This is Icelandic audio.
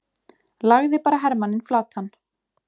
lagði bara hermanninn flatan!